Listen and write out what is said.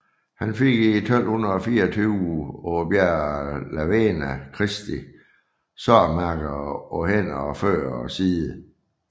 Han fik i 1224 på bjerget La Verna Kristi sårmærker på hænder og fødder og side